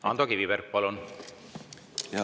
Ando Kiviberg, palun!